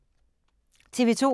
TV 2